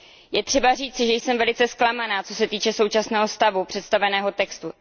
Je třeba říci, že jsem velice zklamaná, co se týče současného stavu představeného textu.